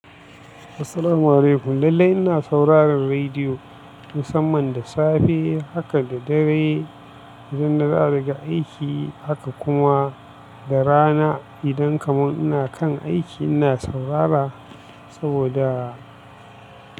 Assalamu alaikum. Lallai ina sauraron rediyo musamman da safe haka da dare idan na dawo daga aiki. Haka kuma da rana idan kamar ina kan aiki ina saurara saboda.